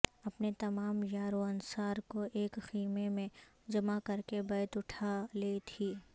اپنے تمام یار و انصار کو ایک خیمے میں جمع کرکے بیت اٹھا لی تھی